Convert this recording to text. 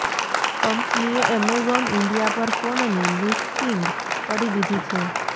કંપનીએ Amazon India પર ફોનની લિસ્ટિંગ કરી દીધી છે